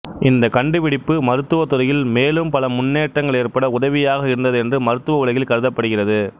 இந்தக் கண்டுபிடிப்பு மருத்துவத்துறையில் மேலும் பல முன்னேற்றங்கள் ஏற்பட உதவியாக இருந்தது என்று மருத்துவ உலகில் கருதப்படுகிறது